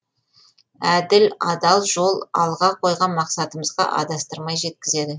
әділ адал жол алға қойған мақсатымызға адастырмай жеткізеді